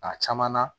A caman na